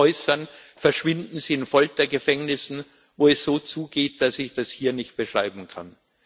äußern, verschwinden sie in Foltergefängnissen, wo es so zugeht, dass ich das hier nicht beschreiben kann.